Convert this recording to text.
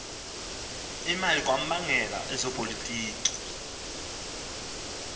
imali kwamagela ezopolitiko